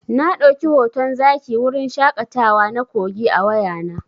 Na ɗauki hoton zaki a wurin shaƙatawa na Kogi a wayana.